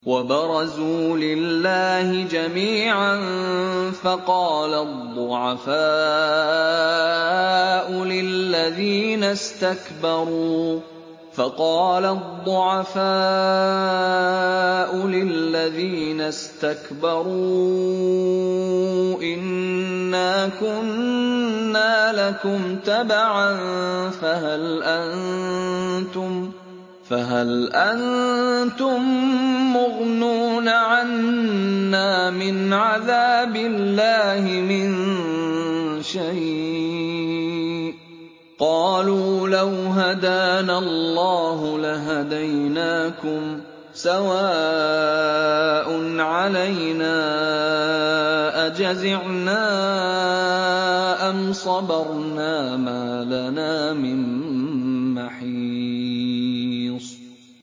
وَبَرَزُوا لِلَّهِ جَمِيعًا فَقَالَ الضُّعَفَاءُ لِلَّذِينَ اسْتَكْبَرُوا إِنَّا كُنَّا لَكُمْ تَبَعًا فَهَلْ أَنتُم مُّغْنُونَ عَنَّا مِنْ عَذَابِ اللَّهِ مِن شَيْءٍ ۚ قَالُوا لَوْ هَدَانَا اللَّهُ لَهَدَيْنَاكُمْ ۖ سَوَاءٌ عَلَيْنَا أَجَزِعْنَا أَمْ صَبَرْنَا مَا لَنَا مِن مَّحِيصٍ